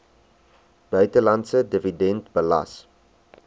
buitelandse dividend belas